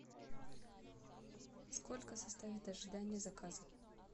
сколько составит ожидание заказа